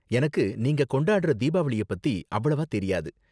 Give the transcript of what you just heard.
எனக்கு நீங்க கொண்டாடுற தீபாவளிய பத்தி அவ்வளவா தெரியாது.